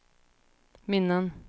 minnen